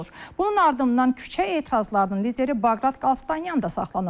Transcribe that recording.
Bunun ardınca küçə etirazlarının lideri Baqrat Qalstanyan da saxlanıldı.